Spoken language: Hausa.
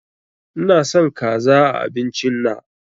Ina son kaza a abincin na